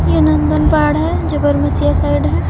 यह नंदन पहाड़ है जो बरमसिया साइड है।